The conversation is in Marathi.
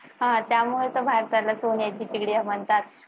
हा त्यामुळेच तर भारताला सोन्याची चिडिया म्हणतात.